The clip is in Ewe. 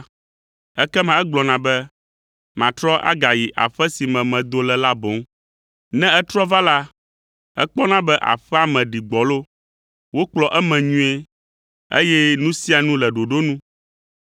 ekema egblɔna be, ‘Matrɔ agayi aƒe si me medo le la boŋ.’ Ne etrɔ va la, ekpɔna be aƒea me ɖi gbɔlo, wokplɔ eme nyuie, eye nu sia nu le ɖoɖo nu.